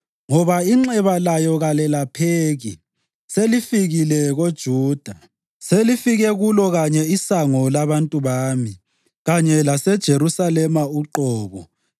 Ngoba inxeba layo kalelapheki; selifikile koJuda. Selifike kulo kanye isango labantu bami, kanye laseJerusalema uqobo.